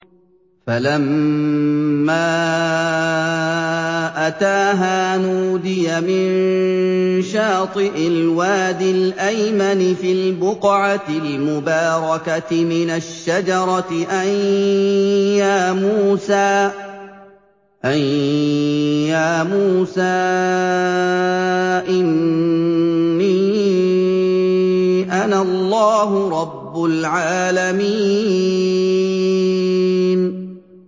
فَلَمَّا أَتَاهَا نُودِيَ مِن شَاطِئِ الْوَادِ الْأَيْمَنِ فِي الْبُقْعَةِ الْمُبَارَكَةِ مِنَ الشَّجَرَةِ أَن يَا مُوسَىٰ إِنِّي أَنَا اللَّهُ رَبُّ الْعَالَمِينَ